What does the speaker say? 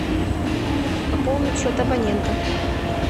пополнить счет абонента